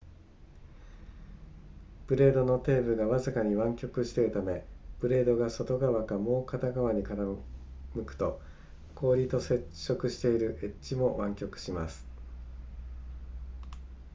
ブレードの底部がわずかに湾曲しているためブレードが片側かもう片側に傾くと氷と接触しているエッジも湾曲します